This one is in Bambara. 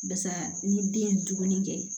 Barisa ni den ye dumuni kɛ